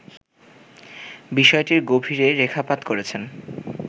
বিষয়টির গভীরে রেখাপাত করেছেন